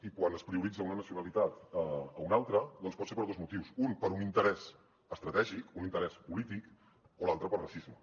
i quan es prioritza una nacionalitat a una altra pot ser per dos motius un per un interès estratègic un interès polític o l’altre per racisme